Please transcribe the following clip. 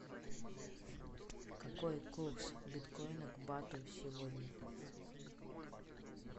какой курс биткоина к бату сегодня